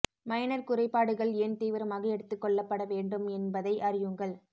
minor குறைபாடுகள் ஏன் தீவிரமாக எடுத்துக் கொள்ளப்பட வேண்டும் என்பதை அறியுங்கள்